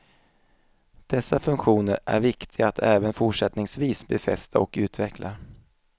Dessa funktioner är viktiga att även fortsättningsvis befästa och utveckla.